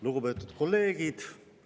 Lugupeetud kolleegid!